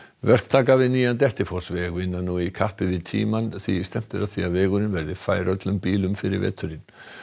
verktakar við nýjan Dettifossveg vinna nú í kappi við tímann því stefnt er að því að vegurinn verði fær öllum bílum fyrir veturinn